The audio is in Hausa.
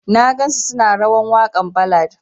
Na gan su suna rawan wakan ballad.